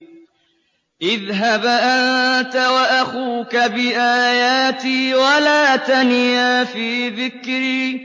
اذْهَبْ أَنتَ وَأَخُوكَ بِآيَاتِي وَلَا تَنِيَا فِي ذِكْرِي